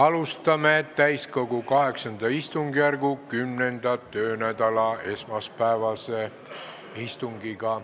Alustame täiskogu VIII istungjärgu 10. töönädala esmaspäevast istungit.